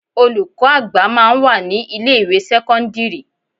Olùkọ́ àgbà máa ń wà ní ilé ìwé sẹ́kọ́ńdírì.